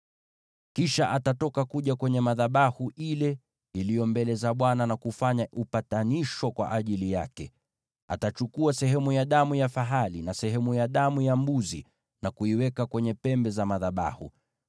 “Kisha atatoka aje kwenye madhabahu yaliyo mbele za Bwana na kufanya upatanisho kwa ajili yake. Atachukua sehemu ya damu ya fahali na sehemu ya damu ya mbuzi, na kuiweka kwenye pembe za madhabahu.